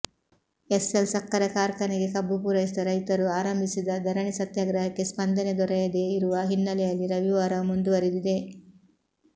SL ಸಕ್ಕರೆ ಕಾರ್ಖಾನೆಗೆ ಕಬ್ಬು ಪೂರೈಸಿದ ರೈತರು ಆರಂಭಿಸಿದ ಧರಣಿ ಸತ್ಯಾಗ್ರಹಕ್ಕೆ ಸ್ಪಂದನೆ ದೊರೆಯದೇ ಇರುವ ಹಿನ್ನೆಲೆಯಲ್ಲಿ ರವಿವಾರವೂ ಮುಂದುವರಿದಿದೆ